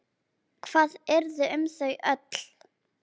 Hvað yrði um þau öll?